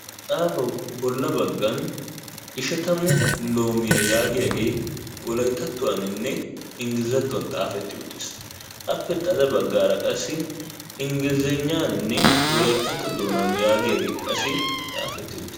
ha axaafawu bola baggan ishatamu loomiya yaagiyagee wolayttattuwanninne englizzatuwan xafeti uttis, appe xade badaara qassi ingglizagnaaninne wolayttatto doonaa yaagiyaagee qasi xaafeti uttiis.